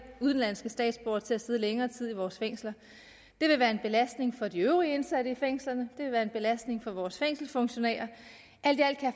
udenlandske statsborgere til at sidde længere tid i vores fængsler det vil være en belastning for de øvrige indsatte i fængslerne det vil være en belastning for vores fængselsfunktionærer alt i alt kan